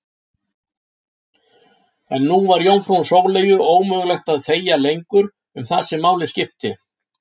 En nú var jómfrú Sóleyju ómögulegt að þegja lengur um það sem máli skipti.